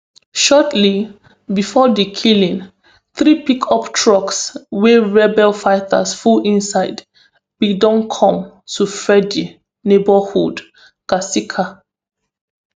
shortly bifor di killing three pickup trucks wey rebel fighters full inside bin don come to freddy neighbourhood kasika